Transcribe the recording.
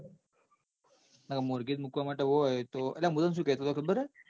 નક મોર્ગેજ મુકવા માટે હોય તો અલ્યા મુ તન સુ કેતો હતો ખબર હ?